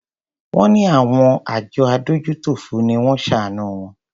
Wón ní àwọn àjọ adójútòfò ni wón ṣàánù wọn.